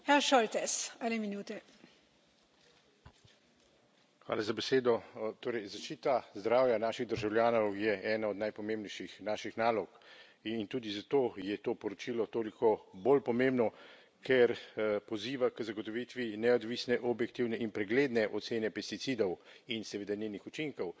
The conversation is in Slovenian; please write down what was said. Gospa predsednica, torej, zaščita zdravja naših državljanov je ena od najpomembnejših naših nalog in tudi zato je to poročilo toliko bolj pomembno, ker poziva k zagotovitvi neodvisne, objektivne in pregledne ocene pesticidov in seveda njenih učinkov.